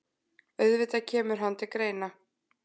Auðvitað kemur hann til greina.